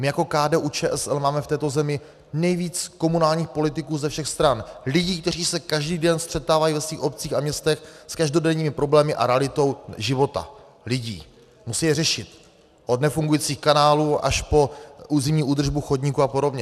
My jako KDU-ČSL máme v této zemi nejvíc komunálních politiků ze všech stran, lidí, kteří se každý den střetávají ve svých obcích a městech s každodenními problémy a realitou života lidí, musí je řešit, od nefungujících kanálů až po zimní údržbu chodníků a podobně.